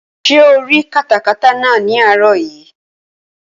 Ṣé o rí katakata náà ní àárọ̀ yìí?